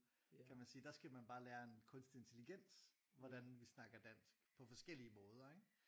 Kan man sige der skal man bare lære en kunstlig intelligens hvordan vi snakker dansk på forskellige måder ikke?